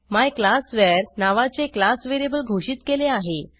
मायक्लासवर नावाचे class variable घोषित केले आहे